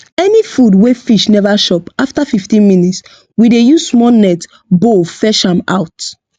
any food wey fish never chop after fifteen minutes we dey use small net bowl fetch am out